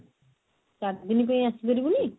ଚାରି ଦିନ ପାଇଁ ଆସିପାରିବୁନି?